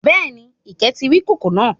Béèni, Ìkẹ́ ti rí ìkòkò náà